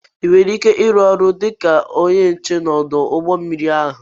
I ga-arunwu ọrụ dịka ónyé nche n'odu ụgbọ mmiri ahụ?